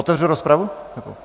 Otevřu rozpravu?